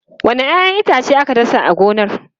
Wanne 'ya'yan itace aka dasa a gonar?